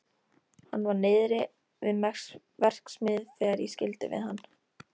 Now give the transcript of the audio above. Hann var niðri við verksmiðju þegar ég skildi við hann.